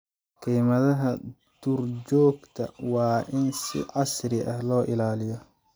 Keymaha duurjoogta waa in si casri ah loo ilaaliyo.